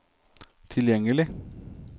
tilgjengelig